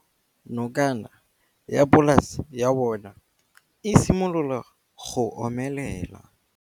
Nokana ya polase ya bona, e simolola go omelela.